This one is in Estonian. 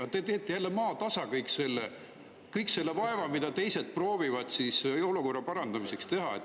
Aga te teete jälle maatasa kõik selle vaeva, mida teised proovivad olukorra parandamiseks teha.